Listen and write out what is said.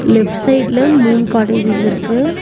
Left சைடுல மூணு cottages இருக்கு.